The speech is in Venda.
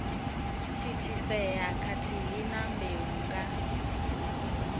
thithisea khathihi na mbeu nga